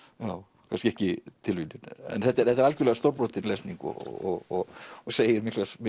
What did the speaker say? já kannski ekki tilviljun en þetta er þetta er algjörlega stórbrotin lesning og og segir